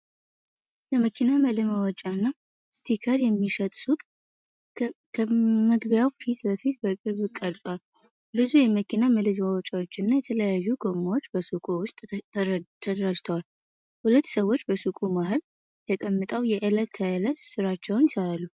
የመኪና መለዋወጫና ስቲከር የሚሸጥ ሱቅ ከመግቢያው ፊት ለፊት በቅርብ ቀርጿል። ብዙ የመኪና መለዋወጫዎችና የተለያዩ ጎማዎች በሱቁ ውስጥ ተደራጅተዋል። ሁለት ሰዎች በሱቁ መሃል ተቀምጠው የዕለት ተዕለት ሥራቸውን ይሠራሉ።